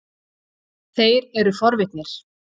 Þeir eru forvitnir.